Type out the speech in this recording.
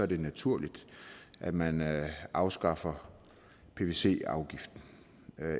det naturligt at man afskaffer pvc afgiften